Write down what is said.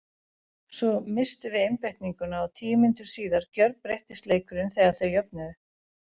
Svo misstum við einbeitinguna og tíu mínútum síðar gjörbreyttist leikurinn þegar þeir jöfnuðu.